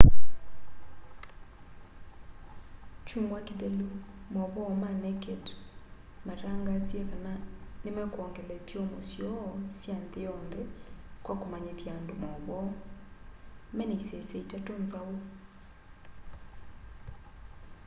kyumwa kithelu mauvoo ma naked mataangasie kana nimekwongela ithyomo syoo sya nthi yonthe kwa kumanyithya andu mauvoo mena isese itatu nzau